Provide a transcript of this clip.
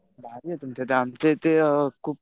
भारी आहे तुमच्या इथे आमच्या इथे खूप